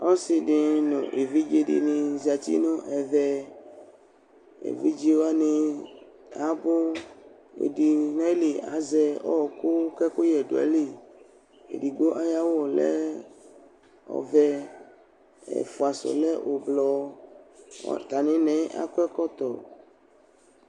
Ɔsɩ dɩnɩ nʋ evidze dɩnɩ zati nʋ ɛvɛ, evidze wanɩ abʋ, ɛdɩnɩ nʋ ayili azɛ ɔɣɔkʋ kʋ ɛkʋyɛ dʋ ayili, edigbo ayʋ awʋ lɛ ɔvɛ, ɛfʋa sʋ lɛ ʋblʋ, atamɩna yɛ akɔ ɛkɔtɔ